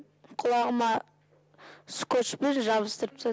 құлағыма скотчпен жабыстырып тастады